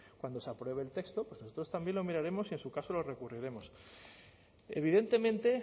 cuando se apruebe el texto nosotros también lo miraremos y en su caso lo recurriremos evidentemente